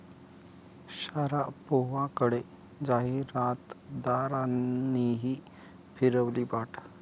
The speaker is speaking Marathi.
शारापोव्हाकडे जाहिरातदारांनीही फिरवली पाठ